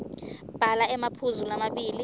bhala emaphuzu lamabili